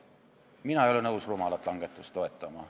Mina ei ole nõus rumalat langetust toetama.